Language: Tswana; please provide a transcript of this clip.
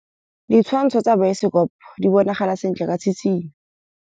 Ditshwantshô tsa biosekopo di bonagala sentle ka tshitshinyô.